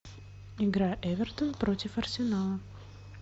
игра эвертон против арсенала